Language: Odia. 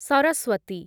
ସରସ୍ୱତୀ